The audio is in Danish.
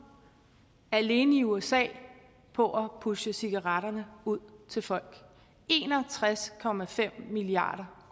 alene i usa på at pushe cigaretterne ud til folk en og tres milliard